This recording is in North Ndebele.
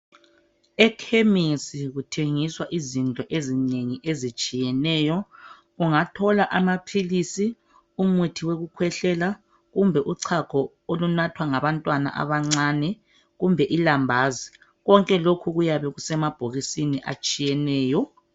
Ekhemesi kuthengiswa izinto ezinengi ezitshiyeneyo ungathola amaphilisi, umuthi wokukhwehlela kumbe uchago olunathwa ngabantwana abancane kumbe ilambazi konke lokhu kuyabe kusemabhokisini atshiyeneyo.